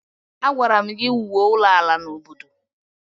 Agwara m gi wụọ ụlọ ala na obodo!